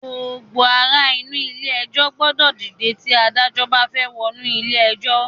Gbogbo ara inú ilé ẹjọ́ gbọ́dọ̀ dìde tí Adájọ́ bá fẹ́ wọnú ilé ẹjọ́